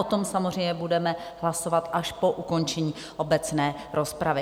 O tom samozřejmě budeme hlasovat až po ukončení obecné rozpravy.